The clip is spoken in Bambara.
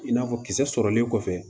I n'a fɔ kisɛ sɔrɔlen kɔfɛ